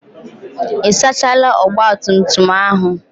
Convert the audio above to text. Ị sachaala ogbatumtum ahụ?